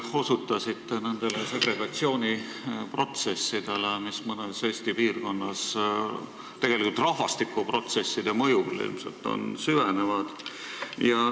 Te osutasite nendele segregatsiooni protsessidele, mis mõnes Eesti piirkonnas ilmselt rahvastikuprotsesside mõjul süvenevad.